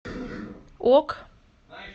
ок